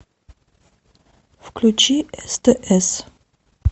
включи стс